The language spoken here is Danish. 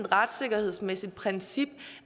retssikkerhedsmæssigt princip